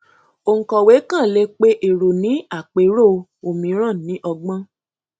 òǹkọwé kàn lè pe èrò ní àpérò òmíràn ní ọgbọn